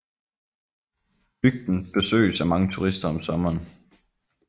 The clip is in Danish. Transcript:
Bygden besøges af mange turister om sommeren